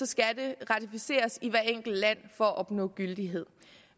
skal det ratificeres i hvert enkelt land for at opnå gyldighed